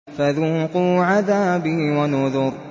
فَذُوقُوا عَذَابِي وَنُذُرِ